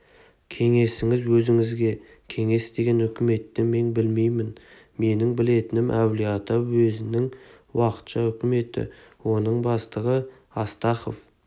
кеңесіңіз өзіңізге кеңес деген үкіметті мен білмеймін менің білетінім әулие-ата уезінің уақытша үкіметі оның бастығы астахов